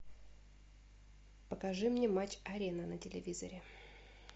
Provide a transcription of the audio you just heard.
покажи мне матч арена на телевизоре